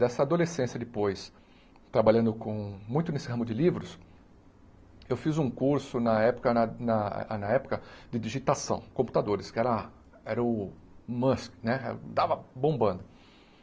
Dessa adolescência depois, trabalhando com muito nesse ramo de livros, eu fiz um curso na época na na na época de digitação, computadores, que era a era o Musk né, estava bombando.